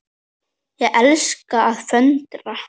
Ég elska að föndra.